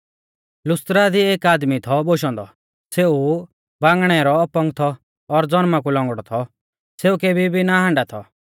लुस्त्रा दी एक आदमी थौ बोशौ औन्दौ सेऊ बांगणै रौ अपंग थौ और ज़नमा कु लौंगड़ौ थौ सेऊ केबी भी ना हांडौ थौ